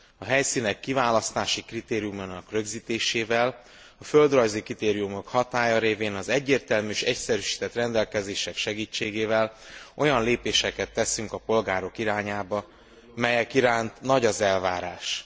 A helyszínek kiválasztási kritériumának rögzítésével, a földrajzi kritériumok hatálya révén, az egyértelmű és egyszerűsített rendelkezések segítségével olyan lépéseket teszünk a polgárok irányába, melyek iránt nagy az elvárás.